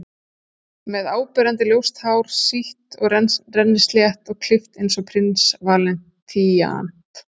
Með áberandi ljóst hár, sítt og rennislétt, og klippt eins og Prins Valíant.